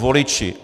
Voliči.